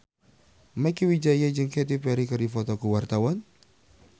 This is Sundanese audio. Mieke Wijaya jeung Katy Perry keur dipoto ku wartawan